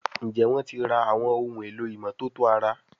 Njé wón tí rà Àwọn ohun èlò ìmọ́tótó ara?